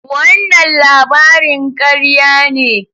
Wannan labarin karya ne.